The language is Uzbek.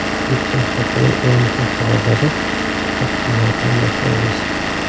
O‘tgan haftaning eng muhim xabarlari taqdimotini boshlaymiz.